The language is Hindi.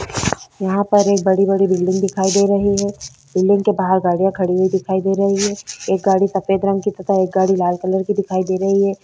यहाँ पर एक बड़ी-बड़ी बिल्डिंग दिखाई दे रही है बिल्डिंग के बाहर गाड़िया खड़ी हुई दिखाई दे रही है एक गाड़ी सफ़ेद रंग की तथा एक गाड़ी लाल रंग की दिखाई दे रही है।